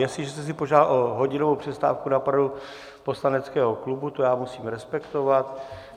Jestliže jste si požádal o hodinovou přestávku na poradu poslaneckého klubu, to já musím respektovat.